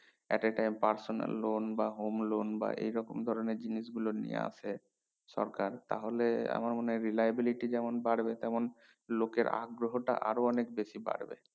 at a time personal loan বা home loan বা এই রকম ধরণের জিনিস গুলো নিয়ে আসে সরকার তাহলে আমার মনে হয় reliability যেমন বাড়বে তেমন লোকের আগ্রহ টা আরো অনেক বেশি বাড়বে